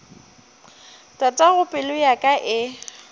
tatago pelo ya ka e